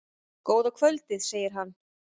Góða kvöldið, segir hann.